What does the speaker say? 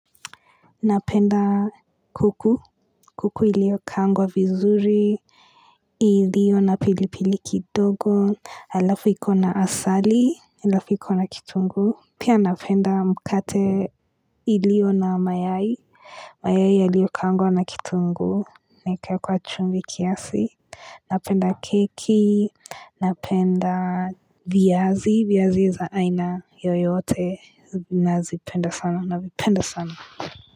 Napenda kuku, kuku iliyokaangwa vizuri, iliyo na pilipili kidogo, halafu iko na asali, halafu ikona kitungu, pia napenda mkate iliyo na mayai, mayai iliyokangwa na kitunguu, na ikawekwa chumvi kiasi, napenda keki, napenda viazi, viazi za aina yoyote, nazipenda sana, navipenda sana.